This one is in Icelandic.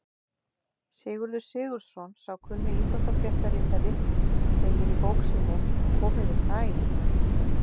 Sigurður Sigurðsson, sá kunni íþróttafréttaritari, segir í bók sinni Komiði sæl!